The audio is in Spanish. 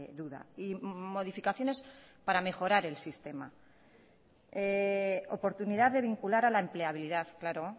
duda y modificaciones para mejorar el sistema oportunidad de vincular a la empleabilidad claro